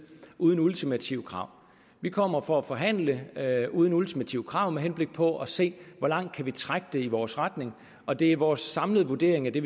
uden ultimative krav vi kommer for at forhandle uden ultimative krav med henblik på at se hvor langt vi kan trække det i vores retning og det er vores samlede vurdering af det